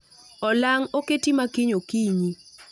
Olang' oketi makiny okinyi